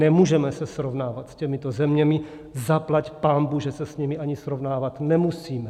Nemůžeme se srovnávat s těmito zeměmi, zaplať pánbůh, že se s nimi ani srovnávat nemusíme.